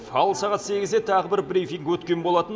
ал сағат сегізде тағы бір брифинг өткен болатын